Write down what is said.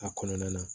A kɔnɔna na